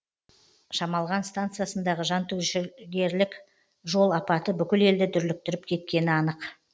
шамалған станциясындағы жантүршігерлік жол апаты бүкіл елді дүрліктіріп кеткені анық